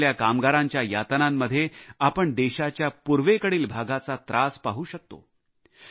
आज आपल्या कामगारांच्या यातनांमध्ये आपण देशाच्या पूर्वेकडील भागाचा त्रास पाहू शकतो